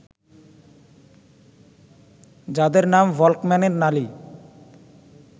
যাদের নাম ভল্কম্যানের নালি